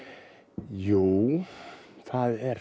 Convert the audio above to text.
jú það er